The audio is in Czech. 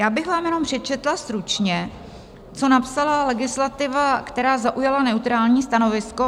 Já bych vám jenom přečetla stručně, co napsala legislativa, která zaujala neutrální stanovisko.